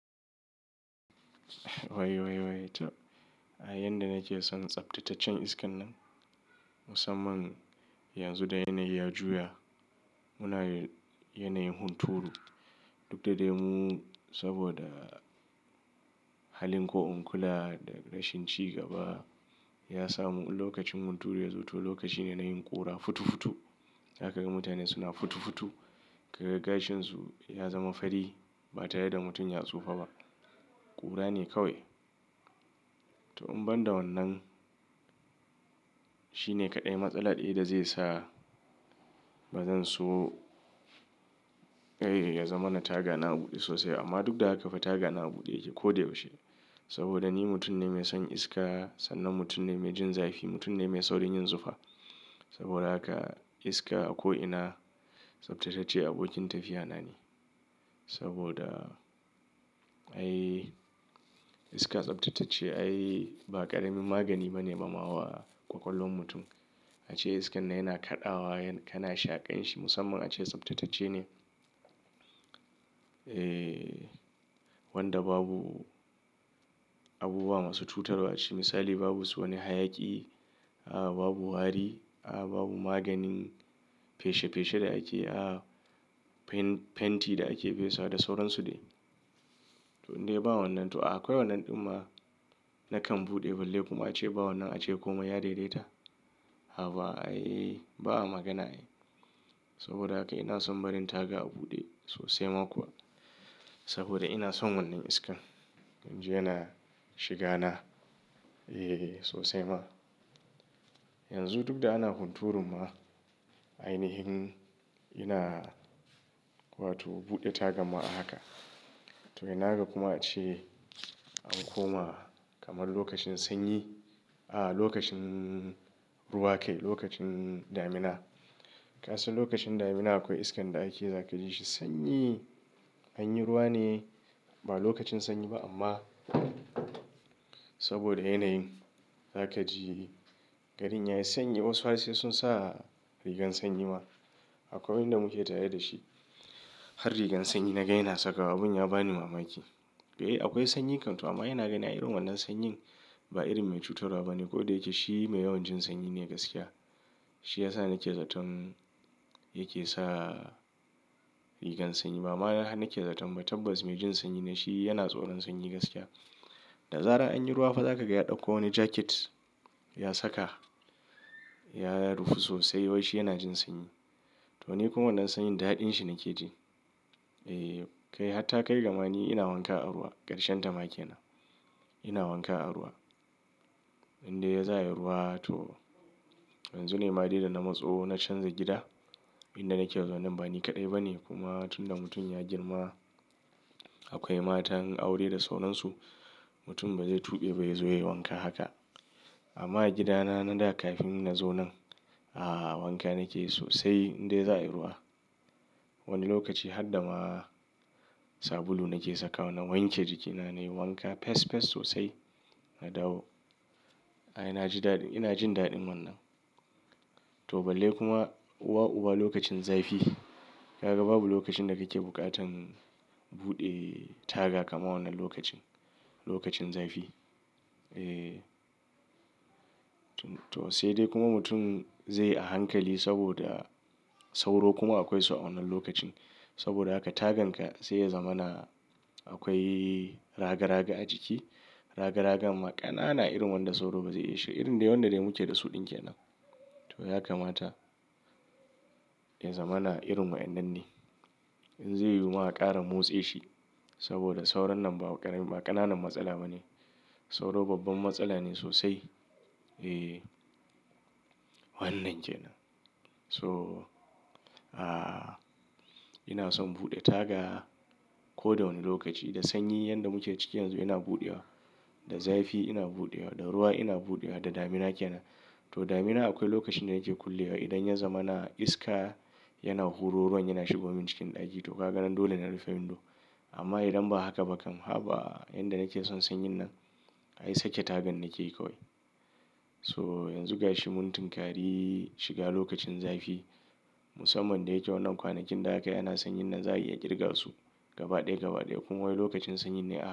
Wai wai to, ai yanda nake son tsaftataccen iskan nan musamman yanzu da yanayi ya juya muna yanayin hunturu. Duk da dai mu saboda halin ko in kula da rashin ci gaba ya samu lokacin hunturu ya zo to lokaci ne na yin ƙura futu futu. Zaka ga mutane suna futu futu, kaga gashinsu ya zama fari ba tare da mutum ya tsufa ba. Ƙura ne kawai. To in ban da wannan, shine kaɗai matsala ɗaya da zai sa bazan so, eh ya zama na taga na buɗe sosai amma duk da haka fa taga na buɗe yake ko da yaushe. Saboda ni mutum ne mai son iska sannan mutum ne mai jin zafi, mutum ne mai saurin yin zufa. Saboda haka iska a ko'ina tsaftatacce abokin tafiya na ne. Saboda, ai iska tsaftatacce ai ba ƙaramin magani ba ne ma ma wa kwakwalwar mutum. Ace iskan nan yana kaɗawa kana shaƙan shi musamman ace tsaftatacce ne. Eh wanda babu abubuwa masu cutarwa ace misali babu wani hayaki, a babu hari, a babu maganin feshe feshe da ake, a fen fentiti da ake fesa da sauransu dai. To indai ba wannan to akwai wannan ɗin ma nakan buɗe balle kuma ace ba wannan ace komai ya daidaita. Haba ai ba a magana ai. Saboda haka ina son barin taga a buɗe sosai ma kuwa. Saboda ina son wannan iskan. Dan jiya na shiga na, eh sosai ma. Yanzu duk da ana hunturu ma, ainihin ina wato buɗe taga ma haka. To ina haka kuma ace an koma kamar lokacin sanyi, a lokacin ruwa kai lokacin damina. Kasan lokacin damina akwai iskan da ake zakaji shi sanyi. An yi ruwa ne ba lokacin sanyi ba amma saboda yanayin zakaji gari yayi sanyi wasu har sai sun sa rigar sanyi ma. Akwai wanda muke tare da shi har rigar sanyi na ga sakawa abun ya bani mamaki. To akwai sanyi kan to amma yana gani irin wannan sanyin ba irin mai cutarwa ba ne ko da yake shi mai yawan jin sanyi ne gaskiya. Shi ya sa nake zaton yake sa rigar sanyi. Ba ma na nake zaton ba tabbas mai jin sanyi ne shi yana tsoron sanyi gaskiya. Da zarar anyi ruwa fa zakaga ya ɗauko wani jakit ya saka ya rufu sosai wai shi yana jin sanyi. To ni kuma wannan sanyin daɗin shi nake ji. Eh kai hatta kai ga mani ina wanka a ruwa ƙarshen tama ke nan. Ina wanka a ruwa. Indai za'a yi ruwa to yanzu ne ma dai da na matso na canza gida. Inda nake yanzu wannan bani kaɗai ba ne kuma tun da mutum ya girma akwai matan aure da sauransu. Mutum bazai tube ba yazo ya yi wanka haka. Amma gida na na da kafin na zo nan, a wanka nake sosai indai za'a yi ruwa. Wani lokaci har dama sabulu nake saka wa na wanke jikina nayi wanka pes pes sosai na dawo. Ai naji dadin ina jin daɗin wannan. To balle kuma uwa uwa lokacin zafi. Kaga babu lokacin da kake buƙatan buɗe taga kamar wannan lokacin. Lokacin zafi. Eh. To sai dai kuma mutum zai a hankali saboda sauro kuma akwai su a wannan lokacin. Saboda haka tagan ka sai ya zama na akwai raga raga a jiki. Raga ragan ma ƙanana irin wanda sauro bazai iya shig irin dai wanda dai muke da su ɗin ke nan. To ya kamata ya zama na irin wa'yannan ne. In zai yi ma ƙara motse shi saboda saurannan ba ƙaramin ba ƙananan matsala ba ne. Sauro babban matsala ne sosai. Eh. Wannan kenan nan. So, a ina son buɗe taga ko da wane lokaci. Da sanyi yanda muke ciki yanzu ina buɗewa. Da zafi ina buɗewa. Da ruwa ina buɗewa. Da damina ke nan. To damina akwai lokacin da nake kullewa idan ya zama na iska yana huro ruwan yana shigo man cikin ɗaki to ka ga nan dole na rufe windor. Amma idan ba haka ba kam haba yanda nake son sanyin nan ai sake tagan nake yi kawai. So yanzu gashi mun tunkari shiga lokacin zafi. Musamman da yake wannan kwanakin da akai ana sanyin nan za, a iya kirga su gaba ɗaya gaba ɗaya kuma wai lokacin sanyi ne a.